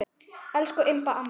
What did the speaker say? Elsku Imba amma.